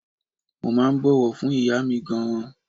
Mo máa ń bọ̀wọ̀ fún ìyá mi gan-an.